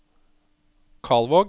Kalvåg